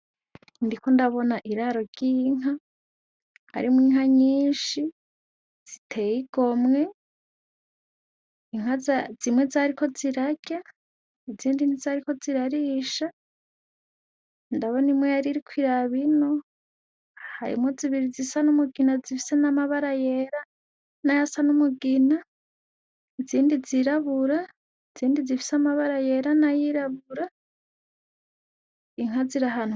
Ndiko ndabona iraro ry'inka, harimwo inka nyinshi, zitey'igomwe. Inka zimwe zariko zirarya, izindi ntizariko zirarisha, ndabona imwe yaririk' irabino, harimwo zibiri zisa n'umugina zifise n'amabara yera, nayasa n'umugina izindi zirabura, izindi zifise amabara yera n'ayirabura, inka zir'ahantu.